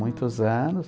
Muitos anos.